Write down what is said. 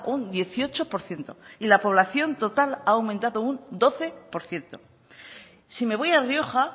un dieciocho por ciento y la población total ha aumentado un doce por ciento si me voy a rioja